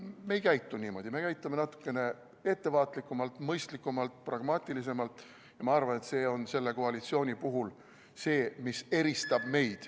Me ei käitu niimoodi, me käitume natukene ettevaatlikumalt, mõistlikumalt, pragmaatilisemalt ja ma arvan, et see on selle koalitsiooni puhul see, mis meid eristab ...